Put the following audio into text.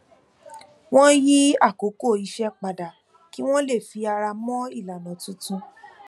wọn yí àkókò iṣẹ padà kí wọn lè fi ara mọ ilànà tuntun